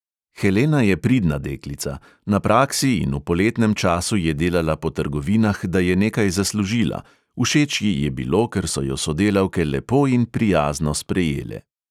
Helena je pridna deklica, na praksi in v poletnem času je delala po trgovinah, da je nekaj zaslužila, všeč ji je bilo, ker so jo sodelavke lepo in prijazno sprejele.